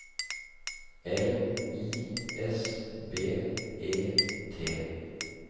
L I S B E T